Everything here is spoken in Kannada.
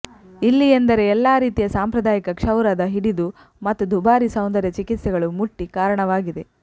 ಇಲ್ಲಿ ಎಂದರೆ ಎಲ್ಲಾ ರೀತಿಯ ಸಾಂಪ್ರದಾಯಿಕ ಕ್ಷೌರದ ಹಿಡಿದು ಮತ್ತು ದುಬಾರಿ ಸೌಂದರ್ಯ ಚಿಕಿತ್ಸೆಗಳು ಮುಟ್ಟಿ ಕಾರಣವಾಗಿದೆ